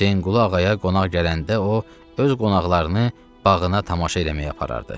Hüseynqulu ağaya qonaq gələndə o, öz qonaqlarını bağına tamaşa eləməyə aparardı.